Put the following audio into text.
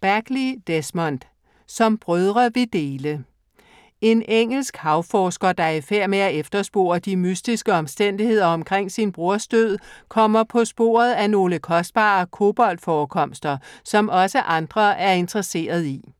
Bagley, Desmond: Som brødre vi dele - En engelsk havforsker, der er i færd med at efterspore de mystiske omstændigheder omkring sin broders død, kommer på sporet af nogle kostbare kobolt-forekomster, som også andre er interesseret i.